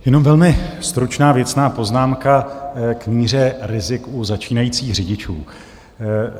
Jenom velmi stručná, věcná poznámka k míře rizik u začínajících řidičů.